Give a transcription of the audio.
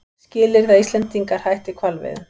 Skilyrði að Íslendingar hætti hvalveiðum